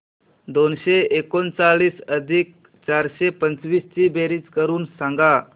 दोनशे एकोणचाळीस अधिक चारशे पंचवीस ची बेरीज करून सांगा